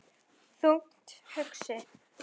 Þungt hugsi?